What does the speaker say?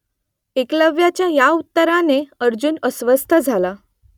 एकलव्याच्या या उत्तराने अर्जुन अस्वस्थ झाला